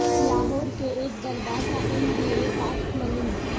لاہور کے ایک دربار کا ایم بی اے پاس ملنگ